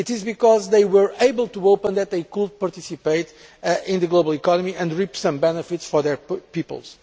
it is because they were able to open up that they could participate in the global economy and reap some benefits for their peoples.